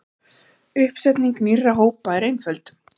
Uppsetning nýrra hópa er einföld.